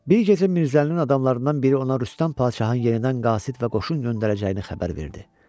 Bir gecə Mirzəlinin adamlarından biri ona Rüstəm Padşahın yerindən qasid və qoşun göndərəcəyini xəbər verdi.